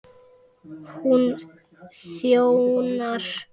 Hún þjónar